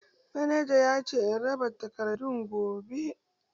Manaja yace in raba takardan gobe.